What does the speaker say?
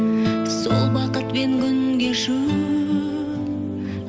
сол бақытпен күн кешу